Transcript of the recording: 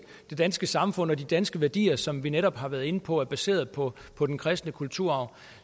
det danske samfund og de danske værdier som vi netop har været inde på er baseret på på den kristne kulturarv